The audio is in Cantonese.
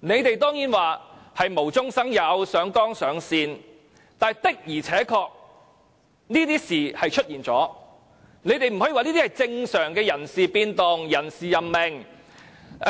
你們當然可以說這是無中生有、上綱上線，但事情的而且確出現了，實在不可以說這是正常的人事變動、人事任命，